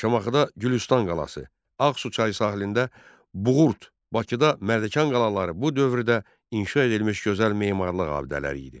Şamaxıda Gülüstan qalası, Ağsu çayı sahilində Buğurt, Bakıda Mərdəkan qalaları bu dövrdə inşa edilmiş gözəl memarlıq abidələri idi.